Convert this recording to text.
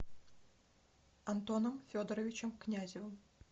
антоном федоровичем князевым